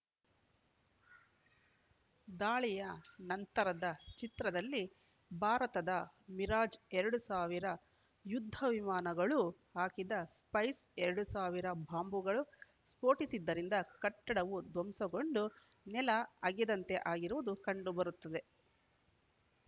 ದಾಳಿಯ ನಂತರದ ಚಿತ್ರದಲ್ಲಿ ಭಾರತದ ಮಿರಾಜ್‌ ಎರಡ್ ಸಾವಿರ ಯುದ್ಧವಿಮಾನಗಳು ಹಾಕಿದ ಸ್ಪೈಸ್‌ ಎರಡ್ ಸಾವಿರ ಬಾಂಬ್‌ಗಳು ಸ್ಫೋಟಿಸಿದ್ದರಿಂದ ಕಟ್ಟಡವು ಧ್ವಂಸಗೊಂಡು ನೆಲ ಅಗೆದಂತೆ ಆಗಿರುವುದು ಕಂಡುಬರುತ್ತದೆ